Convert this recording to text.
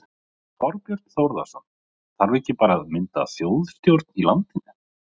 Þorbjörn Þórðarson: Þarf ekki bara að mynda þjóðstjórn í landinu?